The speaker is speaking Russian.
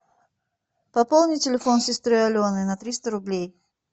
пополни телефон сестры алены на триста рублей